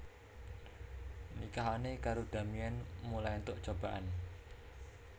Nikahane karo Damien mulai entuk cobaan